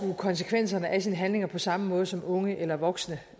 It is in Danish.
konsekvenserne af sine handlinger på samme måde som unge eller voksne